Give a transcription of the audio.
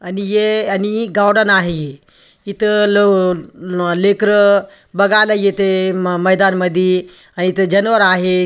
आणि ए आणि एक गावडन आहे इथे लो लेकर बागायला एथे म मैदान मधी अ-इथ जाणवर आहे.